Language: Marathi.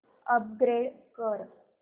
अपग्रेड कर